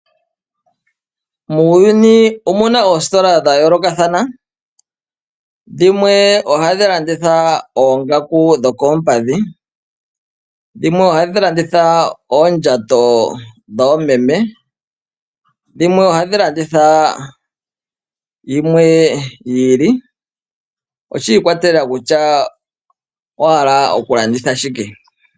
Muuyuni omuna oositola dhayoolokathana ,dhimwe ohadhi landitha oongaku dhokoompadhi ,dhimwe ohadhi landitha oondjato dhoomeme, dhimwe ohadhi landitha yimwe yi ili .Oshi ikwatelela kutya owa hala okulanditha shike.